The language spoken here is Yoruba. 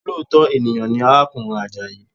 Olóòtọ́ ènìyàn ni arákùnrin Àjàyí